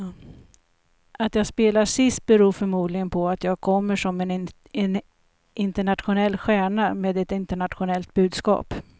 Att jag spelar sist beror förmodligen på att jag kommer som en internationell stjärna med ett internationellt budskap.